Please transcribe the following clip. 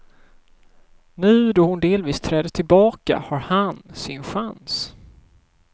Nu då hon delvis träder tillbaka, har han sin chans.